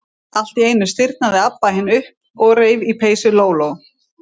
Allt í einu stirðnaði Abba hin upp og reif í peysu Lóu-Lóu.